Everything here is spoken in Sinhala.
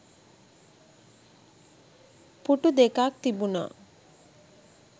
පුටු දෙකක්‌ තිබුණා.